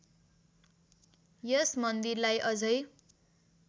यस मन्दिरलाई अझै